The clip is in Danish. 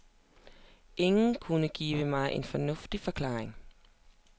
Ingen kunne give mig en fornuftig forklaring.